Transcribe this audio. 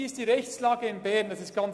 Wie ist die Rechtslage in Bern?